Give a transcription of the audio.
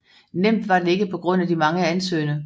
Nemt var det ikke på grund af de mange ansøgende